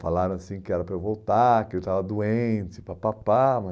Falaram assim que era para eu voltar, que eu estava doente, papapá.